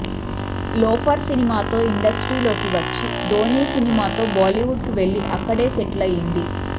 loafer సినిమాతో ఇండస్ట్రీలోకి వచ్చి ధోని సినిమాతో బాలీవుడ్ కు వెళ్లి అక్కడే సెటిల్ అయ్యింది